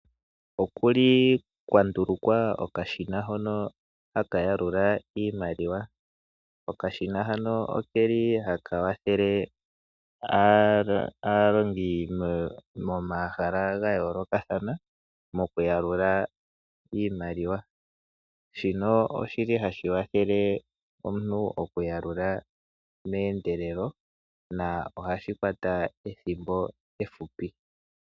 Oku li kwa ndulukwa okashina hono haka yalula iimaliwa. Okashina hano ke li haka kwathele aalongi momahala ga yoolokathana mokuyalula iimaliwa. Shino oshi li hashi kwathele omuntu okuyalula meendelelo nohashi kwata ethimbo efupi.